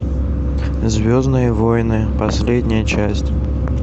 звездные войны последняя часть